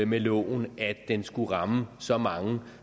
med loven at den skulle ramme så mange